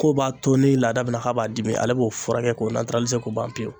K'o b'a to ni laada min k'a b'a dimi ale b'o furakɛ k'o k'o ban pewu.